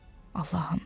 Allahım!